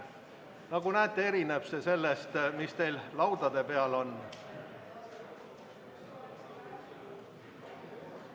Nagu näete, erineb see sellest, mis teil laua peal on.